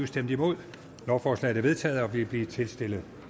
stemte nul lovforslaget er vedtaget og vil blive tilstillet